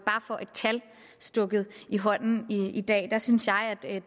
tal stukket i hånden i dag der synes jeg